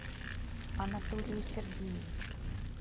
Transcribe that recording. анатолию сергеевичу